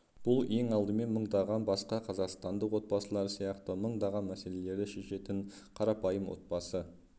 бұл ең алдымен мыңдаған басқа қазақстандық отбасылар сияқты мыңдаған мәселелерді шешетін қарапайым отбасы